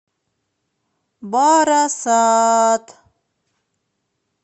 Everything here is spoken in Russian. барасат